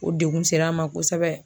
O degun ser'an ma kosɛbɛ.